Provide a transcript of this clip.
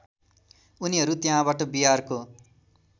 उनीहरू त्यहाँबाट बिहारको